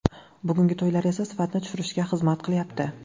Bugungi to‘ylar esa sifatni tushirishga xizmat qilyapti.